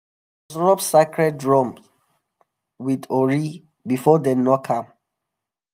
rub sacred drum with ori before dem knock am.